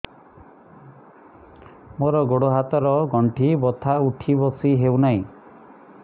ମୋର ଗୋଡ଼ ହାତ ର ଗଣ୍ଠି ବଥା ଉଠି ବସି ହେଉନାହିଁ